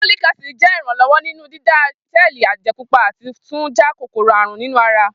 Folic acid ṣe iranlọwọ ni dida sẹẹli ẹjẹ pupa ati tun ja kokoro-arun ninu ara